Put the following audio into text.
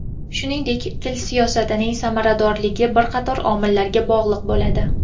Shuningdek, til siyosatining samaradorligi bir qator omillarga bog‘liq bo‘ladi.